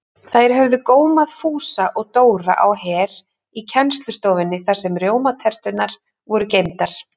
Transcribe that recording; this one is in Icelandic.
Þær höfðu gómað Fúsa og Dóra á Her í kennslustofunni þar sem rjómaterturnar voru geymdar.